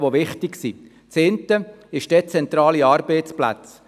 Die eine sind die dezentralen Arbeitsplätze.